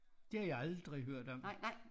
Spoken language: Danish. Det har jeg aldrig hørt om